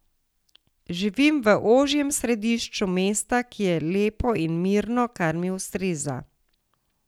Živim v ožjem središču mesta, ki je lepo in mirno, kar mi ustreza.